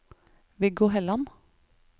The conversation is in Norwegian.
Viggo Helland